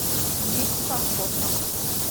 битца фото